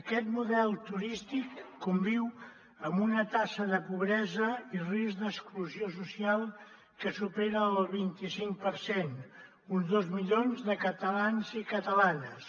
aquest model turístic conviu amb una taxa de pobresa i risc d’exclusió social que supera el vint i cinc per cent uns dos milions de catalans i catalanes